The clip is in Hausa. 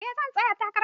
Eh zai tsaya takara.